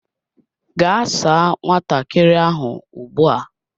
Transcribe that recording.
Gaa saa nwatakiri ahu ugbu a!